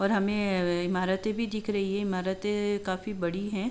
और हमें इमारते भी दिख रही है इमारते काफी बड़ी हैं।